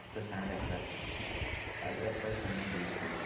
Hətta sənin rəhbərindir, rəhbər səndən də inciyir.